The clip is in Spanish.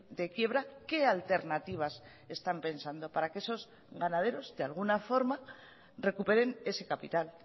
de quiebra qué alternativas están pensando para que esos ganaderos de alguna forma recuperen ese capital